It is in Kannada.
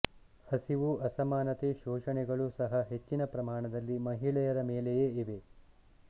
ಹಸಿವು ಅಸಮಾನತೆ ಶೋಷಣೆಗಳು ಸಹ ಹೆಚ್ಚಿನ ಪ್ರಮಾಣದಲ್ಲಿ ಮಹಿಳೆಯರ ಮೇಲೆಯೇ ಇವೆ